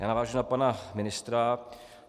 Já navážu na pana ministra.